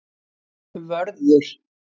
Vörður